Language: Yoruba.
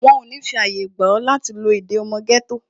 Wọn ò ní fi àyè gba ọ, láti lo èdè ọmọ gẹ́tò